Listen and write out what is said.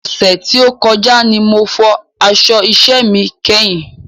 Ọ̀sẹ̀ tí ó kọjá ní mo fọ aṣọ iṣẹ mi kẹ́yìn